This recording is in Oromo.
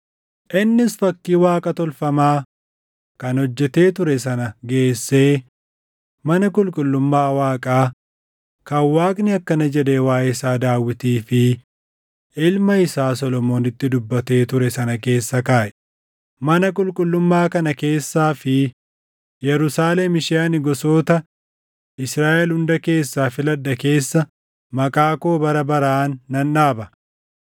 Innis fakkii Waaqa tolfamaa kan hojjetee ture sana geessee mana qulqullummaa Waaqaa kan Waaqni akkana jedhee waaʼee isaa Daawitii fi ilma isaa Solomoonitti dubbatee ture sana keessa kaaʼe; “Mana qulqullummaa kana keessaa fi Yerusaalem ishee ani gosoota Israaʼel hunda keessaa filadhe keessa Maqaa koo bara baraan nan dhaaba.